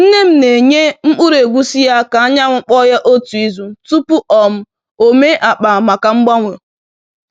Nne m na-enye mkpụrụ egusi ya ka anyanwụ kpoo ya otu izu tupu um o mee akpa maka mgbanwe.